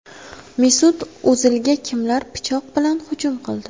Mesut O‘zilga kimlar pichoq bilan hujum qildi?